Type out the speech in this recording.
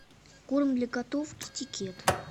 корм для котов китикет